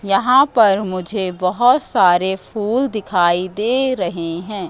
यहां पर मुझे बहोत सारे फूल दिखाई दे रहे हैं।